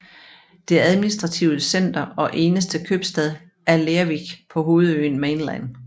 Det administrative center og eneste købstad er Lerwick på hovedøen Mainland